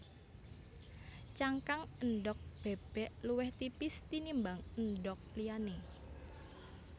Cangkang endhog bébék luwih tipis tinimbang endhog liyané